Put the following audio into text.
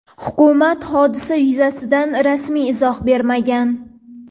Hukumat hodisa yuzasidan rasmiy izoh bermagan.